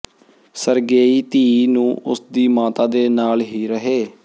Sergei ਧੀ ਨੂੰ ਉਸ ਦੀ ਮਾਤਾ ਦੇ ਨਾਲ ਹੀ ਰਹੇ